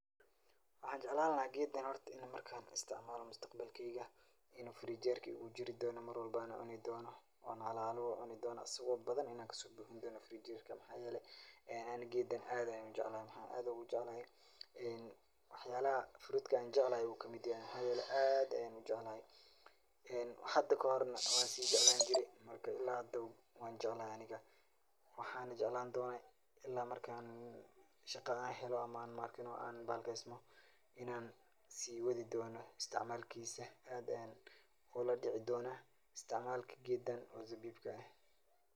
Waxaa jeclaan lahaa geedan horta in markaan isticmaalo mustaqbalkeyga, inuu firinjeerka iigu jiri doono marwalbo aan cuni doono, oo aan hala hala ucuni doono asagoo badan inaan kasoo buuxsani doono firinjeerka, waxaa yeele ani geedan aad ayaan ujeclahay, mxaa aad oogu jeclahay wax yaalaha fruudka aan jeclahay ayuu kamid yahay, waxaa yeele aad ayaan ujeclahay, hada kahorna waan sii jeclaan jire, marka ilaa hadaba waan jeclahay aniga, waxaana jeclaan doona ilaa markaan shaqada aan helo ama maarkino aan bahalkiyesmo inaan sii wadi doono isticmaalkiisa, aad ayaan ula dici doona isticmaalka geedan oo zabiibka ah.